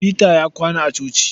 Peter ya kwana a coci.